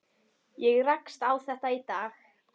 Ég rakst á þetta í dag.